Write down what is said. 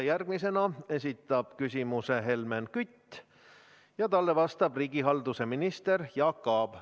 Järgmisena esitab küsimuse Helmen Kütt ja talle vastab riigihalduse minister Jaak Aab.